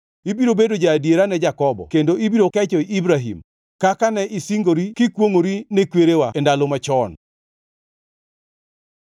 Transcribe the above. Ibiro bedo ja-adiera ne Jakobo kendo ibiro kecho Ibrahim, kaka ne isingori kikwongʼori ne kwerewa, e ndalo machon.